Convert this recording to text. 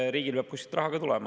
Riigile peab kuskilt raha ka tulema.